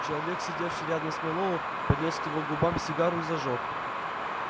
человек сидевший рядом с мэллоу поднёс к его губам сигару и зажёг